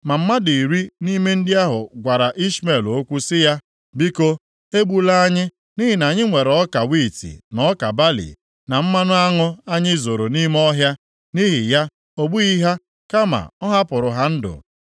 Ma mmadụ iri nʼime ndị ahụ gwara Ishmel okwu sị ya, “Biko, egbula anyị, nʼihi na anyị nwere ọka wiiti na ọka balị, na mmanụ aṅụ anyị zoro nʼime ọhịa.” Nʼihi ya, o gbughị ha, kama ọ hapụrụ ha ndụ.